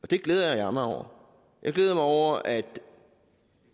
det glæder jeg mig over jeg glæder mig over at